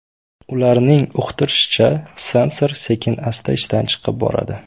Ularning uqtirishicha, sensor sekin-asta ishdan chiqib boradi.